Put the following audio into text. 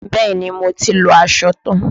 Bẹ́ẹ̀ni, mo ti lọ aṣọ tan.